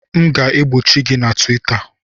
M ga-egbochi gị na Twita!